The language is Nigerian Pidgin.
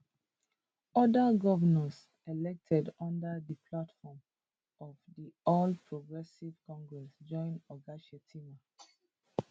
oda govnors elected under di platform of di all progressives congress join oga shettima